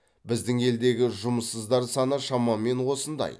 біздің елдегі жұмыссыздар саны шамамен осындай